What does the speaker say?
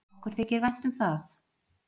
Okkur þykir vænt um það.